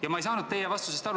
Ja ma ei saanud teie vastusest aru.